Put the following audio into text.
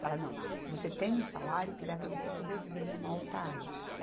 Falar, não, você tem um salário que dá para você sobreviver em uma outra área.